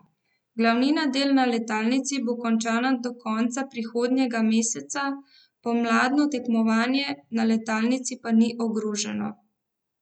Glavnina del na letalnici bo končana do konca prihodnjega meseca, pomladno tekmovanje na letalnici pa ni ogroženo.